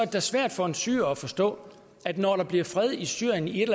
da svært for en syrer at forstå at når der bliver fred i syrien i et